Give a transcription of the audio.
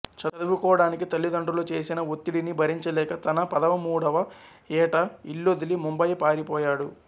చదువుకోడానికి తల్లి తండ్రులు చేసిన ఒత్తిడిని భరించ లేక తన పదమూడవ ఏట ఇల్లొదిలి ముంబయి పారి పోయాడు